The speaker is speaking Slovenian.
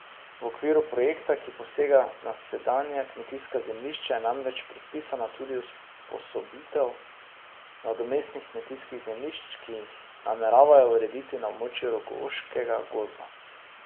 V okviru projekta, ki posega na sedanja kmetijska zemljišča, je namreč predpisana tudi usposobitev nadomestnih kmetijskih zemljišč, ki jih nameravajo urediti na območju rogoškega gozda.